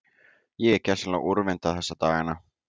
Ég er gersamlega úrvinda þessa dagana.